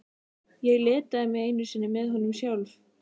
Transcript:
Ég litaði mig einu sinni með honum sjálf.